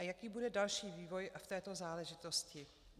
A jaký bude další vývoj v této záležitosti?